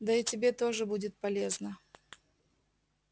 да и тебе тоже будет полезно